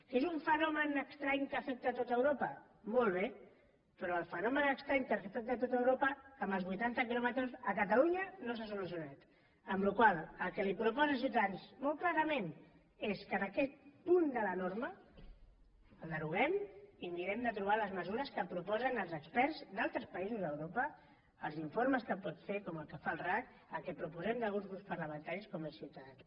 que és un fenomen estrany que afecta tot europa molt bé però el fenomen estrany que afecta tot europa amb els vuitanta quilòmetres a catalunya no s’ha solucionat amb la qual cosa el que li proposa ciutadans molt clarament és que aquest punt de la norma el deroguem i mirem de trobar les mesures que proposen els experts d’altres països d’europa els informes que pot fer com el que fa el racc el que proposem des d’alguns grups parlamentaris com és ciutadans